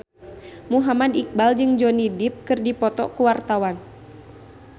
Muhammad Iqbal jeung Johnny Depp keur dipoto ku wartawan